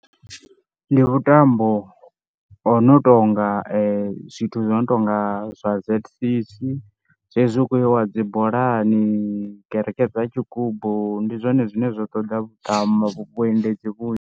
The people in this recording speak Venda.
Ndi vhuṱambo ho no tonga zwithu zwo no tonga zwa z_c_c, zwezwi hu khou iwa dzi bolani, kereke dza tshigumbu ndi zwone zwine zwa ṱoḓa vhuṱamo vhuendedzi vhunzhi.